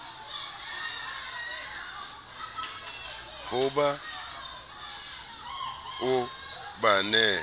ho ba o ba nehe